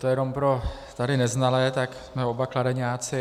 To jenom pro tady neznalé, tak jsme oba Kladeňáci.